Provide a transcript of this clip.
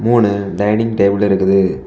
மூணு dining table இருக்குது.